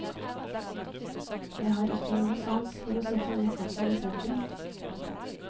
Jeg har ikke noe sans for å sette ned farten i sentrum. punktum